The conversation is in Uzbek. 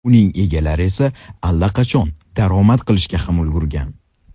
Uning egalari esa allaqachon daromad qilishga ham ulgurgan.